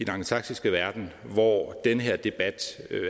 angelsaksiske verden hvor den her debat er